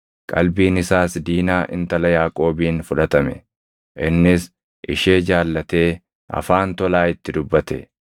Qalbiin isaas Diinaa intala Yaaqoobiin fudhatame; innis ishee jaallatee afaan tolaa itti dubbate.